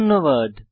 ধন্যবাদ